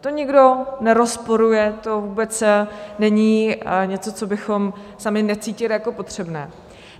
To nikdo nerozporuje, to vůbec není něco, co bychom sami necítili jako potřebné.